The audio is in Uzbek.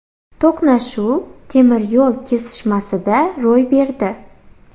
To‘qnashuv temir yo‘l kesishmasida ro‘y berdi.